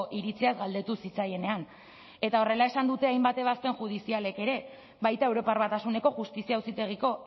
iritziaz galdetu zitzaienean eta horrela esan dute hainbat ebazpen judizialek ere baita europar batasuneko justizia auzitegiko